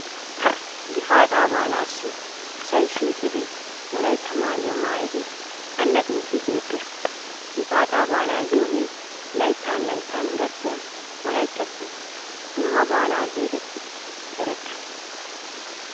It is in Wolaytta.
Gifaataa baalaassi asay shiiqidi wolaytta maayuwa maayidi allaxxiiddi beettes. Gifaataa baalaa giyogee laytta layttan gakkiya wolayittassi dumma baala geetettisi erettes.